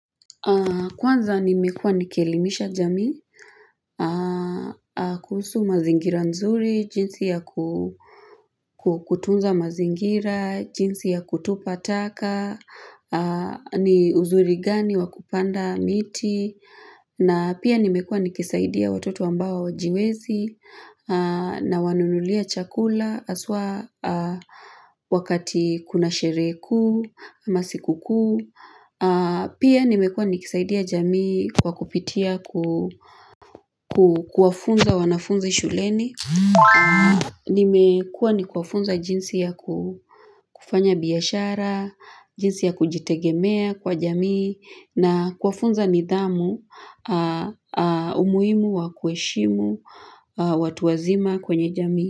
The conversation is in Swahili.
Kwanza nimekua nikielimisha jamii kuhusu mazingira nzuri, jinsi ya kutunza mazingira, jinsi ya kutupa taka, ni uzuri gani wakupanda miti, na pia nimekua nikisaidia watoto ambao wajiwezi, na wanunulia chakula aswa Wakati kuna sheree kuu, amasikukuu Pia nimekua nikisaidia jamii kwa kupitia ku ku kuafunza wanafunzi shuleni Nimekua ni kuafunza jinsi ya ku kufanya biashara jinsi ya kujitegemea kwa jamii na kuwafunza nidhamu umuimu wa kueshimu watu wazima kwenye jamii.